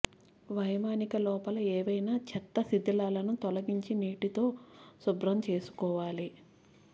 వైమానిక లోపల ఏవైనా చెత్త శిథిలాలను తొలగించి నీటితో శుభ్రం చేసుకోవాలి